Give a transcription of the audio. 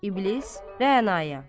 İblis Rəanaya.